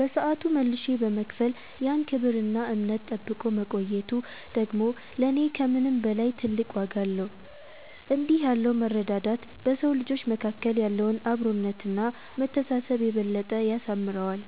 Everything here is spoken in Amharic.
በሰዓቱ መልሼ በመክፈል ያን ክብርና እምነት ጠብቆ መቆየቱ ደግሞ ለኔ ከምንም በላይ ትልቅ ዋጋ አለው። እንዲህ ያለው መረዳዳት በሰው ልጆች መካከል ያለውን አብሮነትና መተሳሰብ የበለጠ ያሳምረዋል።